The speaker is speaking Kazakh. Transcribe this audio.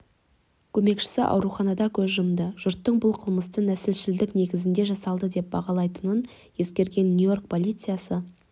көмекшісі ауруханада көз жұмды жұрттың бұл қылмысты нәсілшілдік негізде жасалды деп бағалайтынын ескерген нью-йорк полициясы